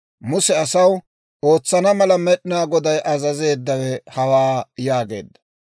Muse asaw, «Ootsana mala Med'inaa Goday azazeeddawe hawaa» yaageedda.